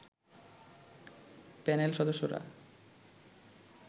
panel সদস্যরা